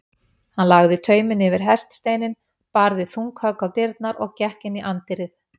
Hann lagði tauminn yfir hestasteininn, barði þung högg á dyrnar og gekk inn í anddyrið.